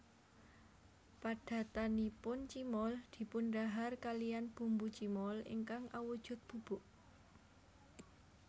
Padatanipun cimol dipundhahar kaliyan bumbu cimol ingkang awujud bubuk